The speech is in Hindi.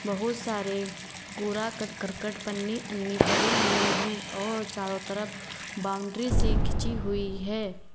बहुत सारे कुरा कर करकट पन्नि अन्नी पड़ी हुई हैं और चारों तरफ बाउंड्री सी खींची हुई है।